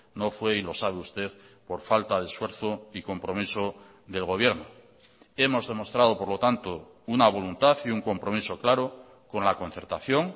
no fue y lo sabe usted por falta de esfuerzo y compromiso del gobierno hemos demostrado por lo tanto una voluntad y un compromiso claro con la concertación